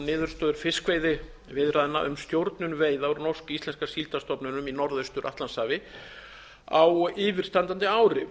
niðurstöður fiskveiðiviðræðna um stjórnun veiða úr norsk íslenska síldarstofninum í norðaustur atlantshafi á yfirstandandi ári